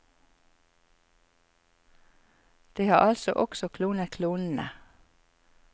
De har altså også klonet klonene.